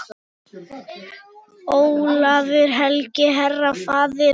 Ólafur helgi, herra, faðir.